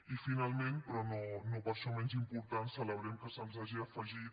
i finalment però no per això menys important celebrem que se’ns hagi afegit